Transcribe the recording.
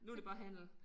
Nu det bare handel